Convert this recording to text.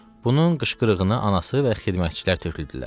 Bunun qışqırığını anası və xidmətçilər töküldülər.